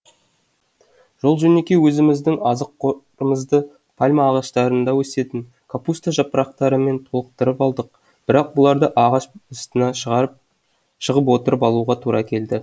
жол жөнекей өзіміздің азық қорымызды пальма ағаштарында өсетін капуста жапырақтарымен толықтырып алдық бірақ бұларды ағаш астына шығып отырып алуға тура келді